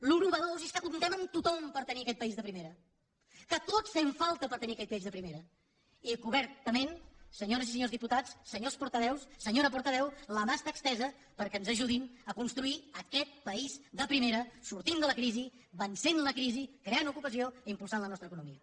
el que és nou és que comptem amb tothom per tenir aquest país de primera que tots fem falta per tenir aquest país de primera i que obertament senyores i senyors diputats senyors portaveus senyora portaveu la mà està estesa perquè ens ajudin a construir aquest país de primera sortint de la crisi vencent la crisi creant ocupació i impulsant la nostra economia